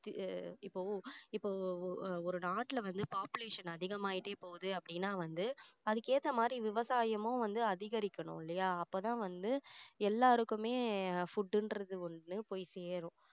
அஹ் இப்போ இப்போ ஒரு நாட்டுல வந்து population அதிகமாயிட்டே போகுது அப்படின்னா வந்து அதுக்கு ஏத்த மாதிரி விவசாயமும் வந்து அதிகரிக்கணும் இல்லையா அப்போ தான் வந்து எல்லாருக்குமே food ன்றது ஒண்ணு போய் சேரும்